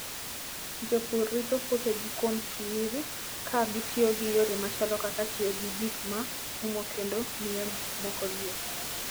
Jopur rito puothegi kuom chwiri ka gitiyo gi yore machalo kaka tiyo gi gik ma umo kendo miyo gik moko liet.